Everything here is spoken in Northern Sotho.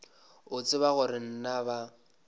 o tseba gore na ba